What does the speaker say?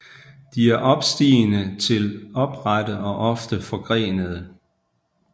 De er opstigende til oprette og ofte forgrenede